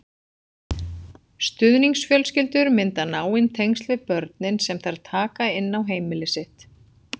Stuðningsfjölskyldur mynda náin tengsl við börnin sem þær taka inn á heimili sitt.